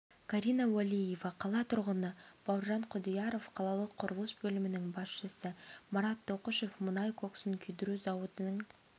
карина уәлиева қала тұрғыны бауыржан құдияров қалалық құрылыс бөлімінің басшысы марат тоқұшев мұнай коксын күйдіру зауытының